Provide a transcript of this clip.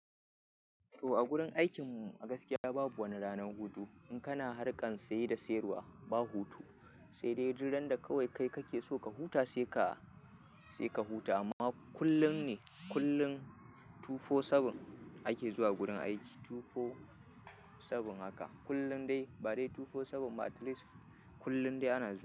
To a gurin aikin mu gaskiya babu wani ranar hutu. In kana harkan saye da sayarwa ba hutu, sai dai duk randa kawai kai kake so ka huta sai ka, sai ka huta amma kullum ne kullum two four seven ake zuwa gurin aiki two four seven haka. Kullum dai ba dai two four seven ba at least kullum dai ana zuwa.